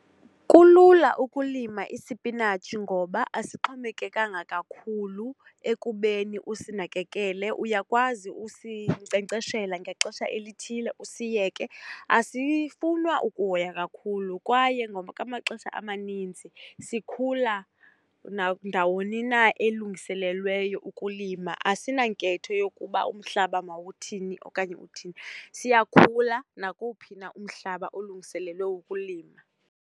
Kulula ukulima isipinatshi ngoba asixhomekekanga kakhulu ekubeni usinakekele, uyakwazi usinkcenkceshela ngexesha elithile usiyeke, asifunwa ukuhoywa kakhulu kwaye ngokwamaxesha amanintsi sikhula nandawoni na elungiselelweyo ukulima. Asinanketho yokuba umhlaba mawuthini okanye uthini, siyakhula nakuwuphina umhlaba olungiselelwe ukulima.